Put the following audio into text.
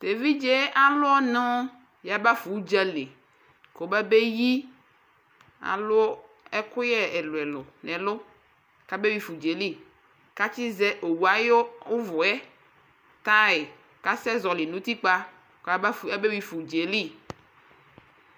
ɛvidzɛ alʋɔnʋ yaba ƒa ʋdzali kʋ ɔba bɛyi, alʋ ɛkʋyɛ ɛlʋɛlʋ nʋ ɛlʋ kʋ abɛ wiƒa ʋdzaɛli kʋ atsi zɛ ɔwʋ ayʋ ʋvʋɛ tire kʋ ɔka zɔli nʋ ʋtikpa kʋ abɛ wiƒa ʋdzali